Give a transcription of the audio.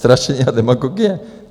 Strašení a demagogie?